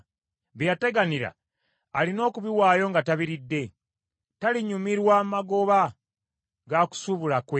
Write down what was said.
Bye yateganira alina okubiwaayo nga tabiridde; talinyumirwa magoba ga kusuubula kwe,